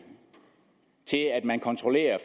til at man kontrollerer